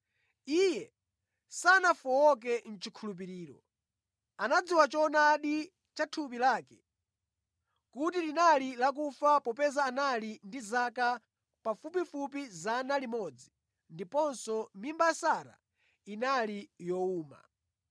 Iye sanafowoke mʼchikhulupiriro. Anadziwa choonadi cha thupi lake kuti linali lakufa popeza anali ndi zaka pafupifupi 100 ndiponso mimba ya Sara inali yowuma.